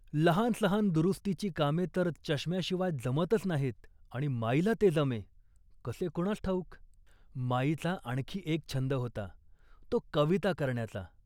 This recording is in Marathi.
लहानसहान दुरुस्तीची कामे तर चष्म्याशिवाय जमतच नाहीत आणि माईला ते जमे, कसे कुणास ठाऊक. माईचा आणखी एक छंद होता, तो कविता करण्याचा